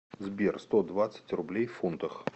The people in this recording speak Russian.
сбер сто двадцать рублей в фунтах